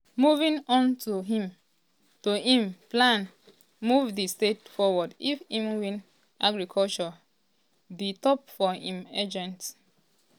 moving on to im to im plans move di state forward if im win agriculture dey top for im agenda.